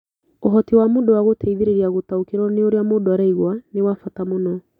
Ũhoti wa mũndũ wa gũteithĩrĩria gũtaũkĩrũo nĩ ũrĩa mũndũ araigua nĩ wa bata mũno.